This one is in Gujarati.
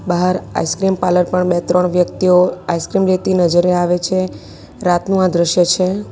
બહાર આઈસ્ક્રીમ પાર્લર પણ બે ત્રણ વ્યક્તિઓ આઈસ્ક્રીમ લેતી નજરે આવે છે રાતનું આ દ્રશ્યો છે.